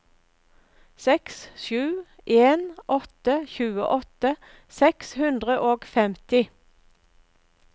seks sju en åtte tjueåtte seks hundre og femti